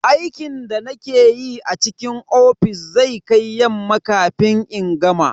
Aikin da nake yi a cikin ofis zai kai yamma kafin in gama.